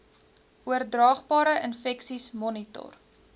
oordraagbare infeksies monitor